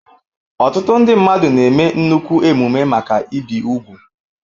Ọtụtụ ndị mmadụ na-eme nnukwu emume maka ibi úgwù.